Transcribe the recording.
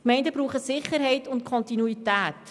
Die Gemeinden brauchen Sicherheit und Kontinuität.